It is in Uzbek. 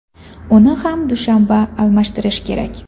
Uni har dushanba almashtirish kerak.